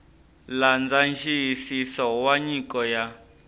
landza nxiyisiso wa nyiko ya